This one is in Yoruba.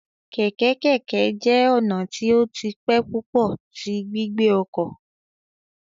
Keke keke jẹ ọna ti o ti pẹ pupọ ti gbigbe ọkọ